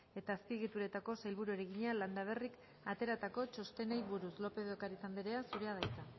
eta azpiegituretako sailburuari egina landaberrik ateratako txostenei buruz lópez de ocariz anderea zurea da hitza